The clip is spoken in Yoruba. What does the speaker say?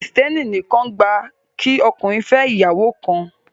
Christianity only allows a man to marry one wife